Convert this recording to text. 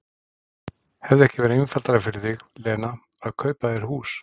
Hefði ekki verið einfaldara fyrir þig, Lena, að kaupa þér hús?